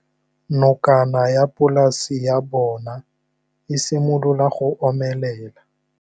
Nokana ya polase ya bona, e simolola go omelela.